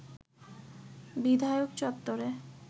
বিধায়ক চত্বরে